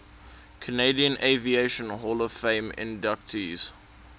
canadian aviation hall of fame inductees